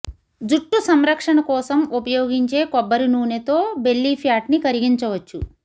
జట్టు సంరక్షణ కోసం ఉపయోగించే కొబ్బరి నూనెతో బెల్లిఫ్యాట్ ని కరిగించవచ్చు